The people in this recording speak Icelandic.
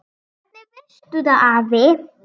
Hvernig veistu það afi?